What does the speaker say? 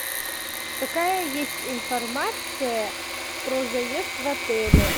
какая есть информация про заезд в отеле